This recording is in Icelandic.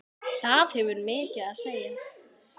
Það hefur mikið að segja.